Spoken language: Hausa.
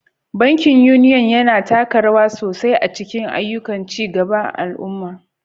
Bankin Union, yana taka rawa sosai a cikin ayyukan ci gaban al'umma.